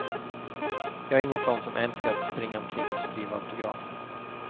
Jag är ingen sån som älskar att springa omkring och skriva autografer.